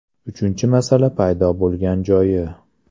Uchinchi masala paydo bo‘lgan joyi.